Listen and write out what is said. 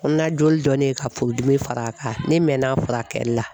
Kɔnɔna joli dɔ de ye ka furu dimi far'a kan , ne mɛn n'a furakɛli la.